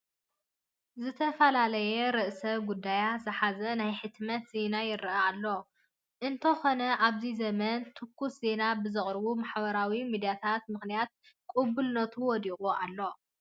ዝተፈላለየ ርእሰ ጉዳያት ዝሓዘ ናይ ሕትመት ዜና ይርአ ኣሎ፡፡ እንተኾነ ኣብዚ ዘመን ትኩስ ዜና ብዘቕርቡ ማሕበራዊ ሚዲያታት ምኽንያት ቅቡልነቱ ወዲቑ ኣሎ፡፡